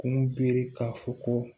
Kun be k'a fɔ ko